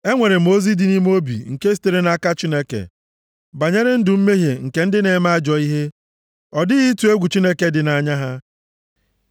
E nwere m ozi dị nʼime obi nke sitere nʼaka Chineke banyere ndụ mmehie nke ndị na-eme ajọ ihe: + 36:1 Maọbụ, Ozi si nʼaka Chineke: Mmebi iwu nke ndị ajọ omume bi nʼime obi ha. Ọ dịghị ịtụ egwu Chineke dị nʼanya ha.